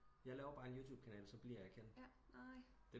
Jeg laver bare en yoububekanal og så bliver jeg kendt